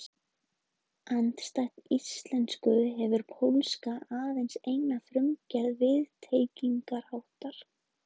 Andstætt íslensku hefur pólska aðeins eina formgerð viðtengingarháttar.